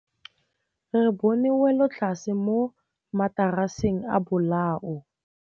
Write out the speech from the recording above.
Re bone wêlôtlasê mo mataraseng a bolaô.